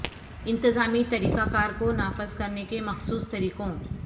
انتظامی طریقہ کار کو نافذ کرنے کے مخصوص طریقوں